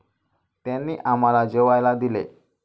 त्यांनी आम्हाला जेवायला दिले.